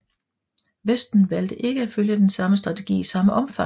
Vesten valgte ikke at følge den samme strategi i samme omfang